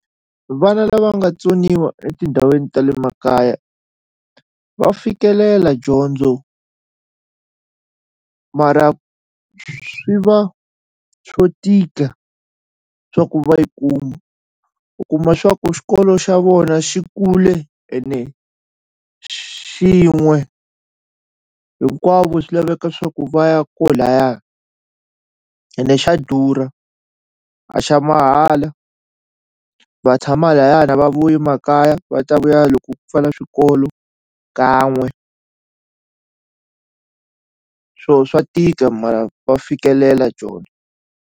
Vana lava nga tsoniwa etindhawini ta le makaya va fikelela dyondzo mara swi va swo tika swa ku va yi kuma u kuma swa ku xikolo xa vona xi kule ene xin'we hinkwavo swi laveka swa ku va ya ko laya ene xa durha a xa mahala va tshama laya a va vuyi makaya va ta vuya loko ku pfala swikolo kan'we swo swa tika mara va fikelela dyondzo.